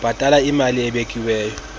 bhatala imali ebekiweyo